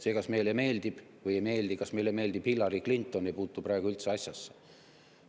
See, kas meile miski meeldib või ei meeldi, kas meile meeldib näiteks Hillary Clinton, ei puutu praegu üldse asjasse.